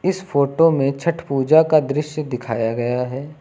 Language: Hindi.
इस फोटो में छठ पूजा का दृश्य दिखाया गया है।